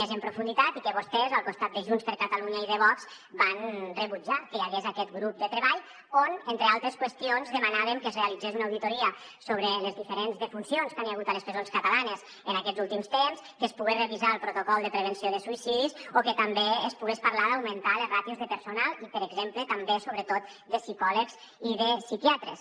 més en profunditat i que vostès al costat de junts per catalunya i de vox van rebutjar que hi hagués aquest grup de treball on entre altres qüestions demanàvem que es realitzés una auditoria sobre les diferents defuncions que hi ha hagut a les presons catalanes en aquests últims temps que es pogués revisar el protocol de prevenció de suïcidis o que també es pogués parlar d’augmentar les ràtios de personal i per exemple també sobretot de psicòlegs i de psiquiatres